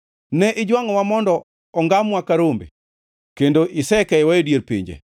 Ne ijwangʼowa mondo ongamwa ka rombe kendo isekeyowa e dier pinje.